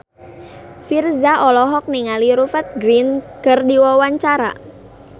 Virzha olohok ningali Rupert Grin keur diwawancara